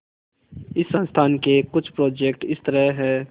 इस संस्थान के कुछ प्रोजेक्ट इस तरह हैंः